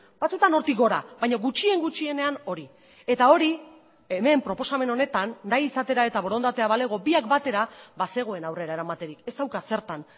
batzuetan hortik gora baina gutxien gutxienean hori eta hori hemen proposamen honetan nahi izatera eta borondatea balego biak batera bazegoen aurrera eramaterik ez dauka zertan